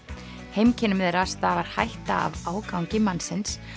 heimkynnum þeirra stafar hætta af ágangi mannsins